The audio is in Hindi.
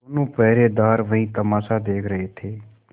दोनों पहरेदार वही तमाशा देख रहे थे